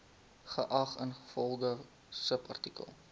geag ingevolge subartikel